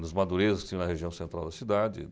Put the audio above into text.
Nos Madurezas, que tinham na região central da cidade.